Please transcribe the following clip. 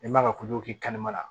I man ka ko k'i kan la